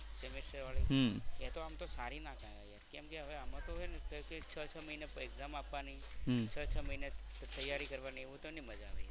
semester વાળી એ તો આમ તો સારી ના કેવાય યાર. કેમ કે હવે આમાં તો હે ને છ છ મહિને exam આપવાની હમ્મ છ છ મહિને તૈયારી કરવાની એવું તો ના મજા આવે.